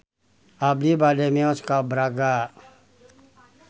Abi bade mios ka Braga